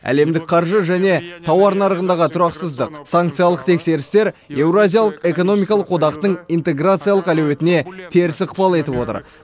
әлемдік қаржы және тауар нарығындағы тұрақсыздық санкциялық текетірестер еуразиялық экономикалық одақтың интеграциялық әлеуетіне теріс ықпал етіп отыр